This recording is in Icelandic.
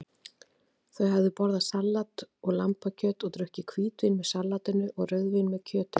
Þau höfðu borðað salat og lambakjöt og drukkið hvítvín með salatinu og rauðvín með kjötinu.